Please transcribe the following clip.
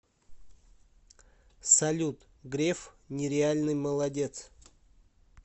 салют греф нереальный молодец